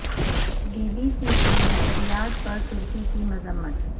be B C کی نشریات پر ترکی کی مذمت